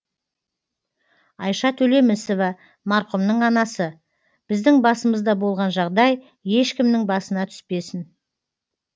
айша төлемісова марқұмның анасы біздің басымызда болған жағдай ешкімнің басына түспесін